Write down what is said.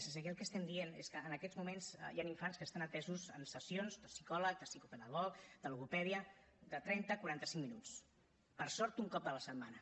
és a dir aquí el que estem dient és que en aquests moments hi han infants que estan atesos en sessions de psicòleg de psicopedagog de logopèdia de trenta quaranta cinc minuts per sort un cop a la setmana